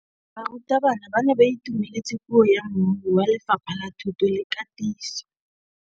Barutabana ba ne ba itumeletse puô ya mmui wa Lefapha la Thuto le Katiso.